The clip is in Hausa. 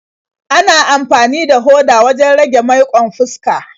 Ana amfani da hoda wajen rage maiƙon fuska.